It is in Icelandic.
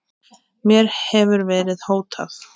Mér hefur verið hótað